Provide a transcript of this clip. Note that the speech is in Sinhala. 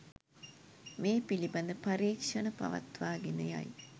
මේ පිළිබඳව පරීක්‍ෂණ පවත්වාගෙන යයි.